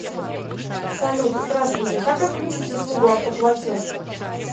салют здравствуйте как отключить услугу автоплатеж